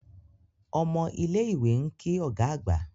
Omo ile iwe nki oga agba.